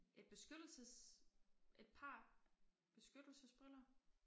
Et beskyttelses et par beskyttelsesbriller